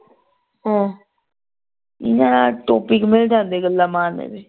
ਹਮ ਮੈਂ topic ਮਿਲ ਜਾਂਦੇ ਗੱਲਾਂ ਮਾਰਨ ਦੇ।